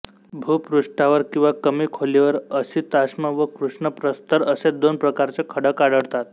भूपृष्ठावर किंवा कमी खोलीवर असिताश्म व कृष्णप्रस्तर असे दोन प्रकारचे खडक आढळतात